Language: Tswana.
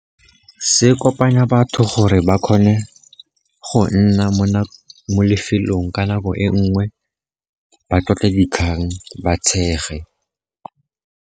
Se kopanya batho gore ba kgone go nna mo lefelong ka nako e nngwe, ba tlotle dikgang, ba tshege.